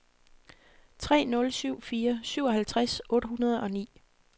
tre nul syv fire syvoghalvtreds otte hundrede og ni